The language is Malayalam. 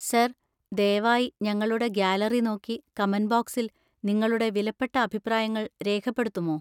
സാർ, ദയവായി ഞങ്ങളുടെ ഗാലറി നോക്കി കമന്‍റ് ബോക്സിൽ നിങ്ങളുടെ വിലപ്പെട്ട അഭിപ്രായങ്ങൾ രേഖപ്പെടുത്തുമോ?